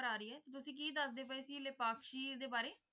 proper ਆ ਰਹੀ ਹੈ । ਤੇ ਤੁਸੀ ਕਿ ਦੱਸਦੇ ਸੀ ਲਿਪਾਕਸ਼ੀ ਦੇ ਬਾਰੇ?